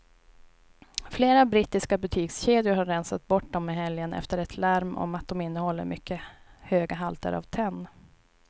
Flera brittiska butikskedjor har rensat bort dem i helgen efter ett larm om att de innehåller mycket höga halter av tenn.